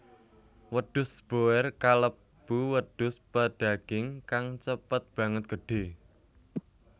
Wedhus boer kalebu wedhus pedaging kang cepet banget gedhé